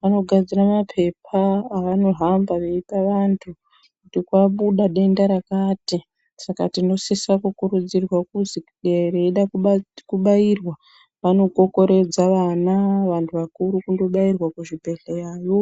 vanogadzira mapepa avanohamba veipa vantu kuti kwabuda denda rakati. Saka tinosise kukurudzirwa kuzi kana veida kubairwa vanokokoredza vana, vantu vakuru kundozvibhendleya yo.